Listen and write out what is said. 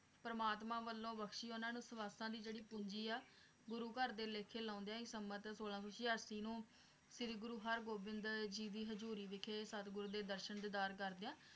ਪਰਮਾਤਮਾ ਵੱਲੋਂ ਬਖਸ਼ੀ ਉਹਨਾਂ ਨੂੰ ਸ਼ਵਾਸਾਂ ਦੀ ਜਿਹੜੀ ਪੂੰਜੀ ਆ ਗੁਰੂ ਘਰ ਦੇ ਲੇਖੇ ਲਾਉਂਦਿਆਂ ਹੀ ਸੰਮਤ ਸੋਲਾਂ ਸੌ ਸਿਆਸੀ ਨੂੰ ਸ਼੍ਰੀ ਗੁਰੂ ਹਰਗੋਬਿੰਦ ਜੀ ਦੀ ਹਜੂਰੀ ਵਿਖੇ ਸਤਿਗੁਰੂ ਦੇ ਦਰਸ਼ਨ ਦੀਦਾਰ ਕਰਦਿਆਂ